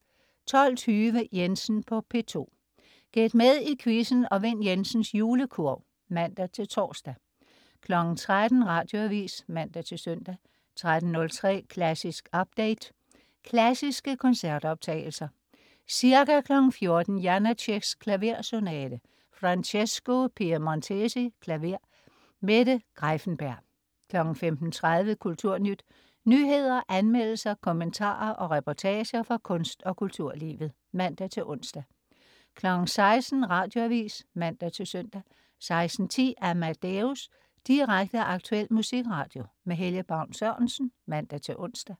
12.20 Jensen på P2. Gæt med i quizzen og vind Jensens Julekurv (man-tors) 13.00 Radioavis (man-søn) 13.03 Klassisk update. Klassiske koncertoptagelser. Ca. 14.00 Janáceks Klaversonate. Francesco Piemontesi, klaver. Mette Greiffenberg 15.30 Kulturnyt. Nyheder, anmeldelser, kommentarer og reportager fra kunst- og kulturlivet (man-ons) 16.00 Radioavis (man-søn) 16.10 Amadeus. Direkte, aktuel musikradio. Helge Baun Sørensen (man-ons)